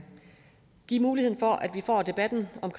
give mulighed for at vi får debatten om